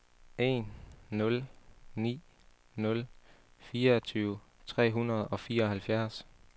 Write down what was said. en nul ni nul fireogtyve tre hundrede og fireoghalvfjerds